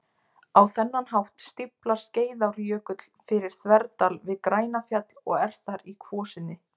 Á þennan hátt stíflar Skeiðarárjökull fyrir þverdal við Grænafjall og er þar í kvosinni